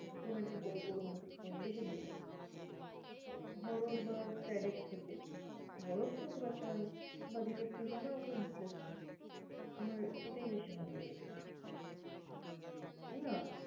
Romantic গল্প, romantic poem বেশি ভালো লাগে horror বা sad এর থেকে। Horror তো খুব একটা বা detective আমার অত interest নেই, আমার এটাই বেশি ভালো লাগে। না